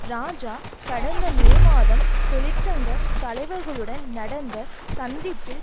இராஜா கடந்த மே மாதம் தொழிற்சங்க தலைவர்களுடன் நடந்த சந்திப்பில்